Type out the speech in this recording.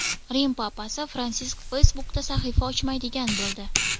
Rim papasi Fransisk Facebook’da sahifa ochmaydigan bo‘ldi.